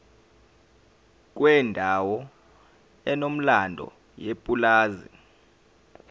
kwendawo enomlando yepulazi